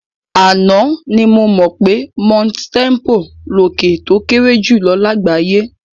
Àná ni mo mọ̀ pé Mount Tempo lòkè tó kéré jùlọ lágbàáyé.